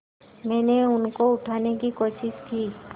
मैंने उनको उठाने की कोशिश की